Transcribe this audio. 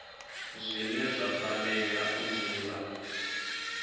zwine zwa fanela u dzula